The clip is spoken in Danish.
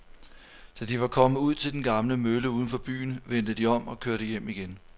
Da de var kommet ud til den gamle mølle uden for byen, vendte de om og kørte hjem igen.